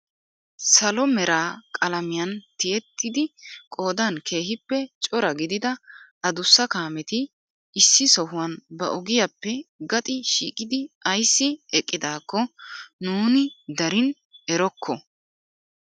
Salo mera qalamiyaan tiyettidi qoodan keehippe cora gidida adussa kaameti issi sohuwaan ba ogiyaappe gaxi shiiqqidi ayssi eqqidaakko nuni darin erokko!